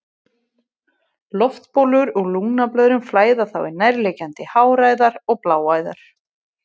Loftbólur úr lungnablöðrum flæða þá í nærliggjandi háræðar og bláæðar.